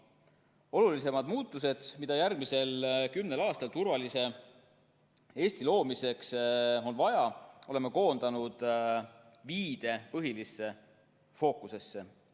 Olulisemad muutused, mida järgmisel kümnel aastal turvalise Eesti loomiseks on vaja, oleme koondanud viide põhilisse fookusesse.